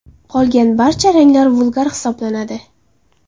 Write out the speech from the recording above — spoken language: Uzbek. Qolgan barcha ranglar vulgar hisoblanadi.